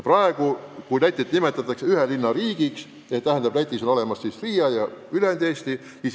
Praegu nimetatakse Lätit ühe linna riigiks: on olemas siis Riia ja ülejäänud Läti.